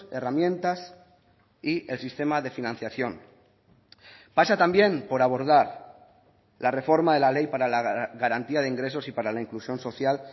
herramientas y el sistema de financiación pasa también por abordar la reforma de la ley para la garantía de ingresos y para la inclusión social